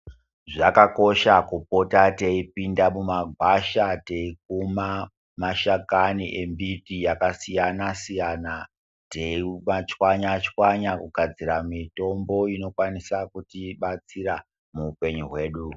Zvakakosha kupota teipinda mumagwasha teikuma mashakani embiti yakasiyana siyana teimachwanya chwanya kugadzira mitombo inokwanisa kutibatsira muupenyu wedu.